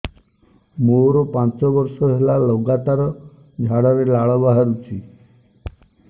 ମୋରୋ ପାଞ୍ଚ ବର୍ଷ ହେଲା ଲଗାତାର ଝାଡ଼ାରେ ଲାଳ ବାହାରୁଚି